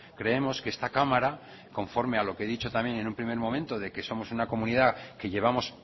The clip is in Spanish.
creemos que esta cámara conforme a lo que he dicho también en un primer momento de que somos una comunidad que llevamos